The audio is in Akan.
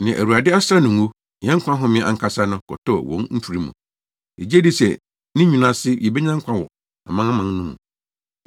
Nea Awurade asra no ngo, yɛn nkwa home ankasa no, kɔtɔɔ wɔn mfiri mu. Yegye dii sɛ ne nwini ase, yebenya nkwa wɔ amanaman no mu.